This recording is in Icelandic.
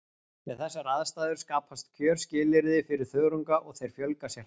Við þessar aðstæður skapast kjörskilyrði fyrir þörunga og þeir fjölga sér hratt.